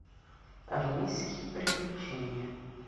армейские приключения